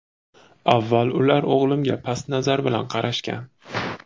Avval ular o‘g‘limga past nazar bilan qarashgan.